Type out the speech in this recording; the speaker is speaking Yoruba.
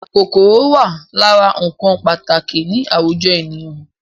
Kòkòrò wà lára ǹkan pàtàkì ni àwùjọ ènìyàn